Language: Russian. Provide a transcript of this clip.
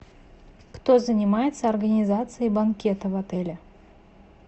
кто занимается организацией банкета в отеле